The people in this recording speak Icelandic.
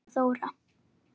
Hulda Þóra.